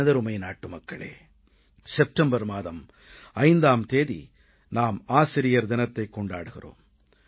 எனதருமை நாட்டுமக்களே செப்டம்பர் மாதம் 5ஆம் தேதி நாம் ஆசிரியர் தினத்தைக் கொண்டாடுகிறோம்